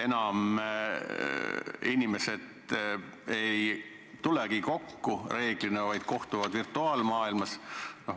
Enam inimesed ei tulegi kokku, vaid reeglina kohtuvad virtuaalmaailmas?